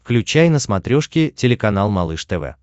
включай на смотрешке телеканал малыш тв